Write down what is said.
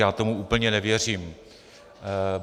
Já tomu úplně nevěřím.